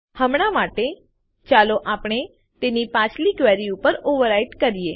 હમણાં માટે ચાલો આપણે તેને પાછલી ક્વેરી ઉપર ઓવરરાઈટ કરીએ